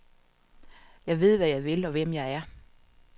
Jeg ved, hvad jeg vil, og hvem jeg er.